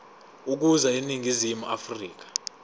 ukuza eningizimu afrika